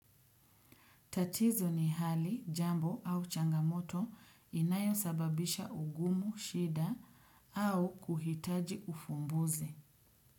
Tatizo ni hali jambo au changamoto inayosababisha ugumu, shida au kuhitaji ufumbuzi.